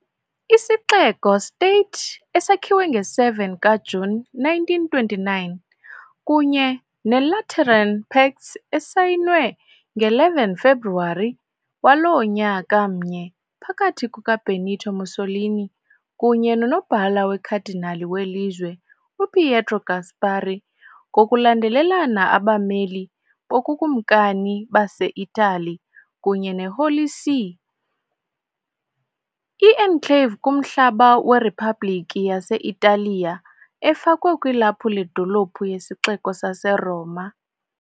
Isixeko -state, esakhiwe nge - 7 kaJuni 1929 kunye neLateran Pacts, esayinwe nge - 11 kaFebruwari waloo nyaka mnye phakathi kukaBenito Mussolini kunye noNobhala weKhadinali welizwe uPietro Gasparri, ngokulandelelana abameli boBukumkani baseItali kunye neHoly See, ' I-enclave kumhlaba weRiphabhlikhi yase-Italiya, efakwe kwilaphu ledolophu yesixeko saseRoma .